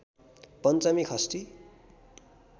पञ्चमी षष्ठी